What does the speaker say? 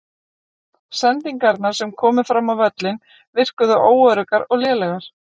Sendingarnar sem komu fram á völlinn virkuðu óöruggar og lélegar.